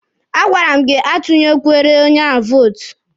A gwara m gị atụnyekwere onye vootu!